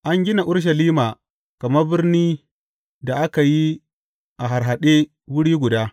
An gina Urushalima kamar birnin da aka yi a harhaɗe wuri guda.